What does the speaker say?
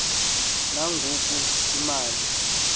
na ngoku imali